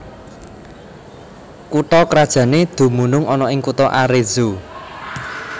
Kutha krajané dumunung ana ing kutha Arezzo